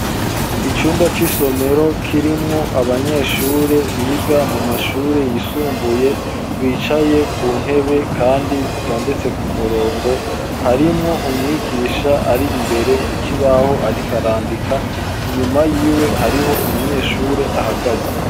Icumba c'isomero kirimwo abanyeshure biga mu mashure yisumbuye bicaye ku ntebe, kandi zitondetse ku murongo harimwo umwigisha ari imbere ku kibaho arikarandika inyuma yiwe hariho umunyeshure ahagaze.